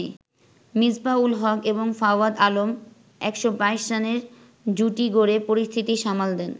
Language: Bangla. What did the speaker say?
মিসবাহ-উল হক এবং ফাওয়াদ আলম ১২২ রানের জুটি গড়ে পরিস্থিতি সামাল দেন।